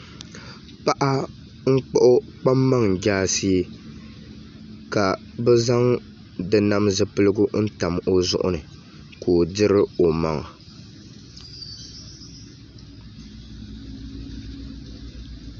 Paɣa n kpuɣu kpaŋmaŋ jaashee ka bi zaŋ di nam zipiligu n tam o zuɣu ni ka o diri o maŋa